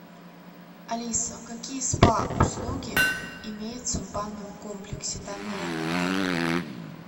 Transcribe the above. алиса какие спа услуги имеются в банном комплексе данного отеля